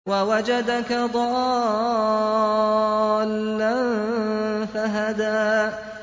وَوَجَدَكَ ضَالًّا فَهَدَىٰ